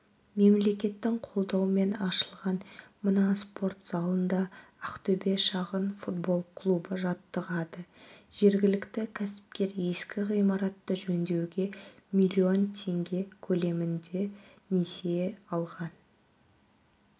мемлекеттің қолдауымен ашылған мына спорт залында ақтөбе шағын футбол клубы жаттығады жергілікті кәсіпкер ескі ғимаратты жөндеуге млн теңге көлемінде несие алған